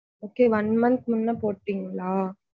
Kay one month முன்ன போட்டிங்களா?